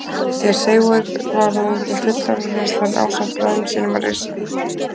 Þegar Seifur var orðinn fullorðinn réðst hann ásamt bræðrum sínum á risana.